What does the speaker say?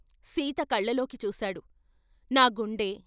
సీత కళ్ళల్లోకి చూశాడు, ' నా గుండె....